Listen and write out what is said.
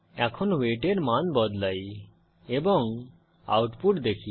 এখন ওয়েট এর মান বদলাই এবং আউটপুট দেখি